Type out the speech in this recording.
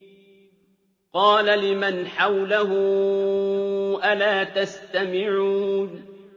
قَالَ لِمَنْ حَوْلَهُ أَلَا تَسْتَمِعُونَ